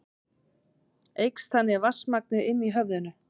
Eykst þannig vatnsmagnið inni í höfðinu.